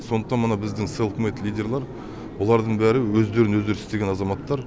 сондықтан мына біздің селф мед лидерлар олардың бәрі өздерін өздері істеген азаматтар